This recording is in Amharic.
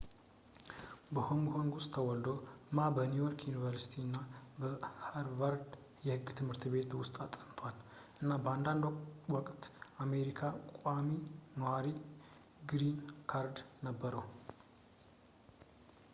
በሆንግ ኮንግ ውስጥ ተወልዶ ማ በኒውዮርክ ዩኒቨርሲቲ እና በሀርቫርድ የህግ ትምህርት ቤት ውስጥ አጥንቷል እና በአንድ ውቅት የአሜሪካ ቋሚ ኗሪ ግሪን ካርድ ነበረው